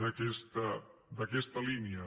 d’aquesta línia